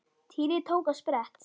Týri tók á sprett.